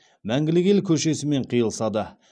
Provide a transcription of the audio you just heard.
мәңгілік ел көшесімен қиылысады